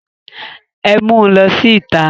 Ẹ mu lọ sí ìta!